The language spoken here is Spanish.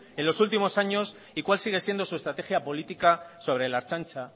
en los últimos años y cual sigue siendo su estrategia política sobre la ertzaintza